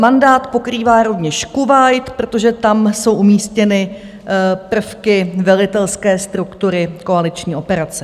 Mandát pokrývá rovněž Kuvajt, protože tam jsou umístěny prvky velitelské struktury koaliční operace.